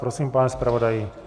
Prosím, pane zpravodaji.